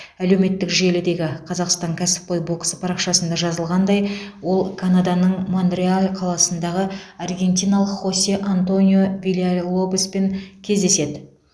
әлеуметтік желідегі қазақстан кәсіпқой боксы парақшасында жазылғандай ол канаданың монреаль қаласындағы аргентиналық хосе антонио вильялобоспен кездеседі